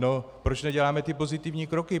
No proč neděláme ty pozitivní kroky?